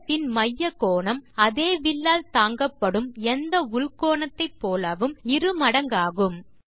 வட்டத்தின் மைய கோணம் அதே வில்லால் தாங்கப்படும் எந்த உள் கோணத்தை போலவும் இரு மடங்காகும்